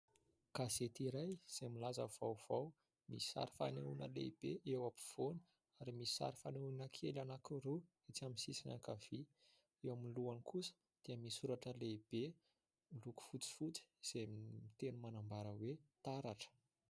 Gazety iray izay milaza vaovao. Misy sary fanehoana lehibe eo afovoany ary misy sary fanehona kely anankiroa etsy amin'ny sisiny ankavia. Eo amin'ny lohany kosa dia misy soratra lehibe, miloko fotsifotsy, izay miteny manambara hoe: "taratra".